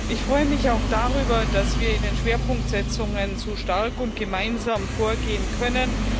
Ich freue mich auch darüber, dass wir in den Schwerpunktsetzungen so stark und gemeinsam vorgehen können.